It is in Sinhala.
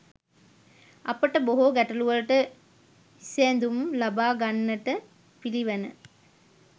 අපට බොහෝ ගැටලුවලට විසැඳුම් ලබා ගන්නට පිළිවන.